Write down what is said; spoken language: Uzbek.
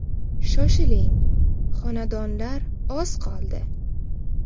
Shoshiling, xonadonlar oz qoldi!